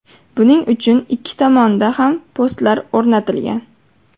Buning uchun ikki tomonda ham postlar o‘rnatilgan.